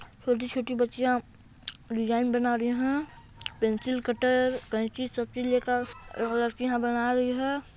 छोटी छोटी बच्चियां डिज़ाइन बना रही है पेंसिल कटर कैंची सब चीज़ लेकर लड़कियां बना रहीं हैं।